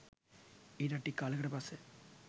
ඊටත් ටික කාලෙකට පස්සෙ